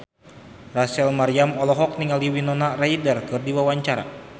Rachel Maryam olohok ningali Winona Ryder keur diwawancara